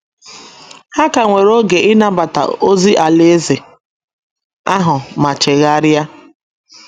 Ha ka nwere oge ịnabata ozi Alaeze ahụ ma chegharịa.